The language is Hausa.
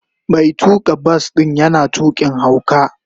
Mai tuka bas din yana tukin hauka.